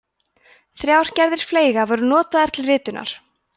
þrjár gerðir fleyga voru notaðar til ritunar